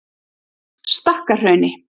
Stakkahrauni